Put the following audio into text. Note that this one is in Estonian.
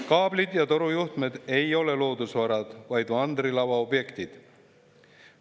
Kaablid ja torujuhtmed ei ole loodusvarad, vaid mandrilava objektid.